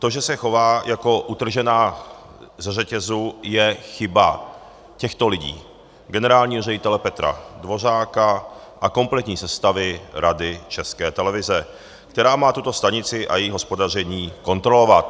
To, že se chová jako utržená ze řetězu, je chyba těchto lidí - generálního ředitele Petra Dvořáka a kompletní sestavy Rady České televize, která má tuto stanici a její hospodaření kontrolovat.